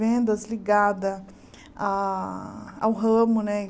Vendas ligada a ao ramo, né?